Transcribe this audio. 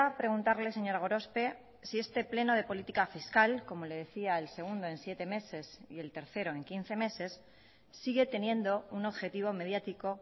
preguntarle señora gorospe si este pleno de política fiscal como le decía el segundo en siete meses y el tercero en quince meses sigue teniendo un objetivo mediático